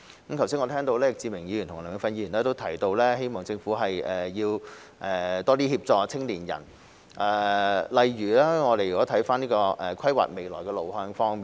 我剛才聽到易志明議員和梁美芬議員提到，希望政府多協助青年人，例如規劃未來路向方面。